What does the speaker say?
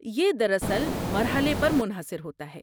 یہ دراصل مرحلے پر منحصر ہوتا ہے۔